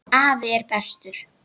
Afi er bestur.